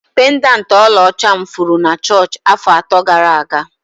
Pendanti ọlaọcha m furu na chọọchị afọ atọ gara aga.